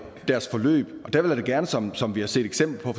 deres forløb og der vil jeg gerne som som vi har set eksempler